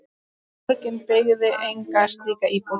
Borgin byggði enga slíka íbúð.